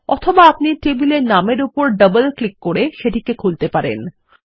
অথবা আপনি টেবিল এর নামের উপর ডবল ক্লিক করে সেটিকে খুলতে পারেন